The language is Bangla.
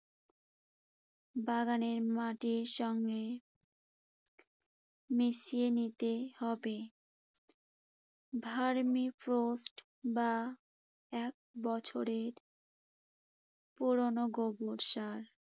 বাগানের মাটির সঙ্গে মিশিয়ে নিতে হবে। ভার্মিপোস্ট বা এক বছরের পুরোনো গোবর সরা,